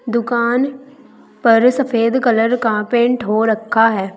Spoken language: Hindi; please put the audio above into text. दुकान पर सफेद कलर कह पेंट हो रखा है।